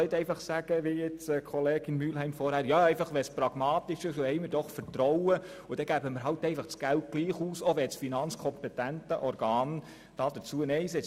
Man kann nicht einfach sagen, wie vorher Kollegin Mühlheim, es müsse einfach pragmatisch sein und wir sollen doch Vertrauen haben und das Geld dann trotzdem ausgeben, auch wenn das finanzkompetente Organ dazu nein gesagt hat.